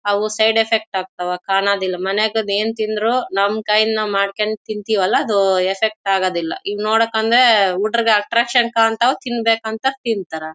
ಅವು side effect ಆಗತ್ವ್ ಕಾನೋದಿಲ್ಲಾ ಮನೆಗೆ ಅದು ಏನ್ ತಿಂದ್ರು ನಮ್ಮ ಕೈಯಲ್ಲಿ ನಾವು ಮಾಡಕೊಂಡ ತಿಂತಿವಲ್ಲಾಅದು ಎಫೆಕ್ಟ್ ಆಗದಿಲ್ಲಾ ಹುಡ್ರುಗ ಅಟ್ರಾಕ್ಷನ್ ಕಾಣತ್ವ್ ತೀನ್ ಬೇಕಂತ ತಿಂತರ್.